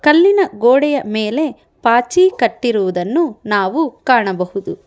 ಕಲ್ಲಿನ ಗೋಡೆಯ ಮೇಲೆ ಪಾಚಿ ಕಟ್ಟಿರುವುದನ್ನು ನಾವು ಕಾಣಬಹುದು.